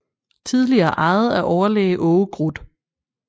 Tidligere ejet af overlæge Aage Grut